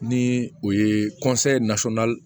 Ni o ye